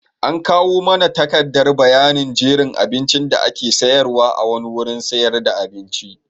An kawo mana takardar bayanin jerin abincin da ake sayarwa a wani wurin sayar da abinci.